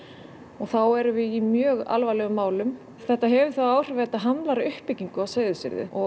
og þá erum við í mjög alvarlegum málum þetta hefur þau áhrif að þetta hamlar uppbyggingu á Seyðisfirði og